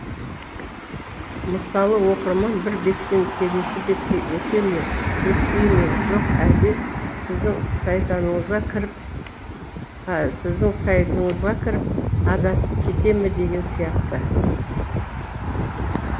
мысалы оқырман бір беттен келесі бетке өте ме өтпей ме жоқ әлде сіздің сайтыңызға кіріп адасып кете ме деген сияқты